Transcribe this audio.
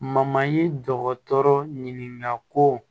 dɔgɔtɔrɔ ɲininka ko